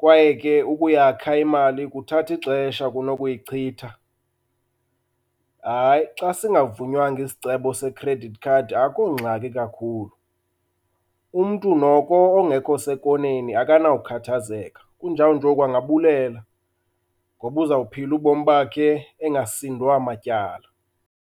kwaye ke ukuyakha imali kuthatha ixesha kunokuyichitha. Hayi xa singavunywanga isicebo se-credit card akhongxaki kakhulu. Umntu noko ongekho sekoneni akanawukhathazeka kunjawunjoku angabulela ngoba uzophila ubomi bakhe engasindwa matyala.